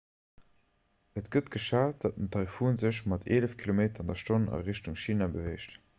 et gëtt geschat datt den taifun sech mat eelef km/h a richtung china beweegt